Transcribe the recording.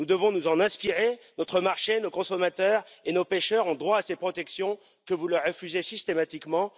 Nous devons nous en inspirer. Notre marché, nos consommateurs et nos pêcheurs ont droit à ces protections que vous leur refusez systématiquement.